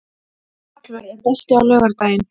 Hallvör, er bolti á laugardaginn?